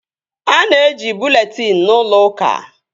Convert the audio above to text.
A na-eji bụleetịn n'ụlọ uka